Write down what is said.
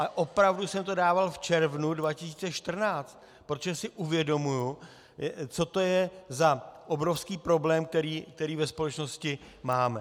A opravdu jsem to dával v červnu 2014, protože si uvědomuji, co to je za obrovský problém, který ve společnosti máme.